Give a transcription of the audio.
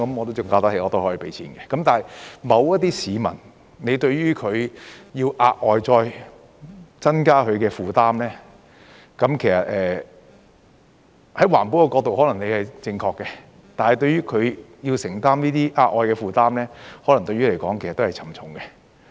但是，對於某些市民，要額外再增加他的負擔，其實從環保的角度你可能是正確的，但對於他要承擔這些額外的負擔，可能對他來說亦是沉重的。